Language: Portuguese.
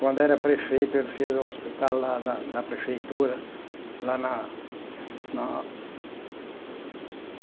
Quando era prefeito, ele fez o Hospital lá da da Prefeitura lá na na